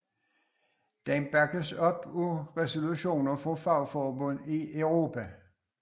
Den bakkes op af resolutioner fra fagforbund i Europa